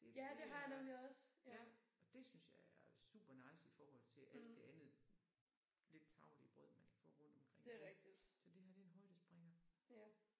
Det det er ja og det synes jeg er supernice i forhold til alt det andet lidt tarvelige brød man kan få rundtomkring nu så det her det er en højdespringer